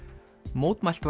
mótmælt